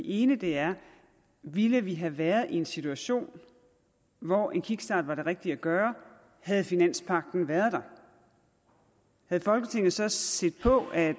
ene er ville vi have været i en situation hvor en kickstart var det rigtige at gøre havde finanspagten været der og havde folketinget så set på at